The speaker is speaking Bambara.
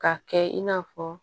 Ka kɛ in n'a fɔ